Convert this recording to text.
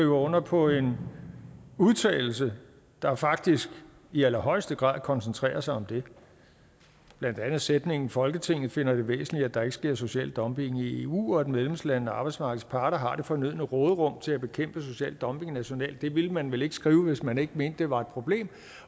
under på en udtalelse der faktisk i allerhøjeste grad koncentrerer sig om det blandt andet sætningen folketinget finder det væsentligt at der ikke sker social dumping i eu og at medlemslandene og arbejdsmarkedets parter har det fornødne råderum til at bekæmpe social dumping nationalt det ville man vel ikke skrive hvis man ikke mente at det var et problem